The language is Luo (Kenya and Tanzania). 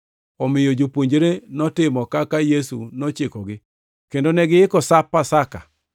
Omiyo jopuonjre notimo kaka Yesu nochikogi kendo negiiko Sap Pasaka.